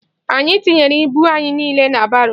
Anyị tinyere ibu anyị niile na baro.